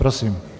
Prosím.